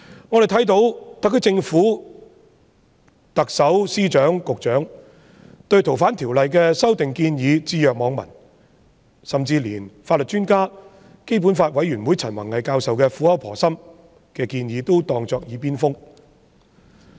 我們看到特區政府、特首、司長和局長對反對修訂《逃犯條例》的聲音置若罔聞，甚至連法律專家、香港基本法委員會陳弘毅教授苦口婆心的建議亦當作"耳邊風"。